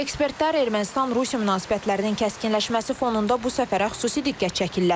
Ekspertlər Ermənistan-Rusiya münasibətlərinin kəskinləşməsi fonunda bu səfərə xüsusi diqqət çəkirlər.